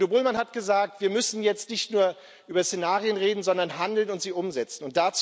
Udo Bullmann hat gesagt Wir müssen jetzt nicht nur über Szenarien reden, sondern handeln und sie umsetzen.